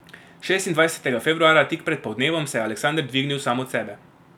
Šestindvajsetega februarja, tik pred poldnevom, se je Aleksander dvignil sam od sebe.